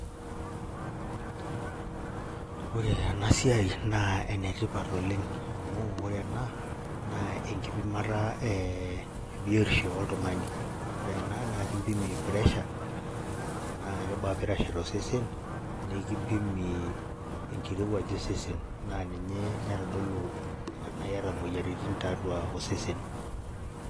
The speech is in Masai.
Ore enasiai na enetipat oleng amu ore ena na enkipimata ebiotisho oltungani, ore enaa na enkipima pressure nakebaa pressure tosesen enkirowuaj osesen na ninye naitodolu tanaiata moyiaritin tiatua osesen.